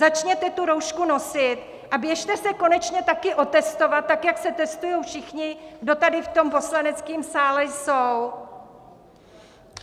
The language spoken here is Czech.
Začněte tu roušku nosit a běžně se konečně taky otestovat tak, jak se testují všichni, kdo tady v tom poslaneckém sále jsou!